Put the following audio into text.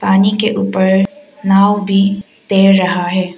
पानी के ऊपर नाव भी तैर रहा है।